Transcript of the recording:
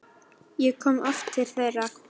Ég kom oft til þeirra.